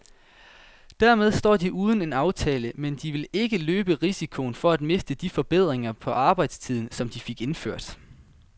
Dermed står de uden en aftale, men de vil ikke løbe risikoen for at miste de forbedringer på arbejdstiden, som de fik indført.